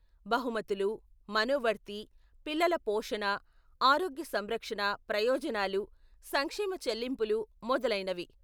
బహుమతులు, మనోవర్తి, పిల్లల పోషణ, ఆరోగ్య సంరక్షణ ప్రయోజనాలు, సంక్షేమ చెల్లింపులు మొదలైనవి.